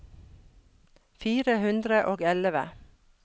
fire hundre og elleve